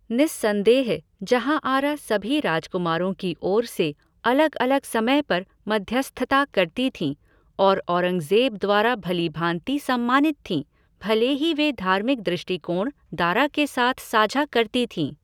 निस्संदेह जहाँआरा सभी राजकुमारों की ओर से अलग अलग समय पर मध्यस्थता करती थीं और औरंगज़ेब द्वारा भली भाँति सम्मानित थीं, भले ही वे धार्मिक दृष्टिकोण दारा के साथ साझा करती थीं।